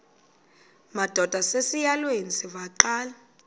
madod asesihialweni sivaqal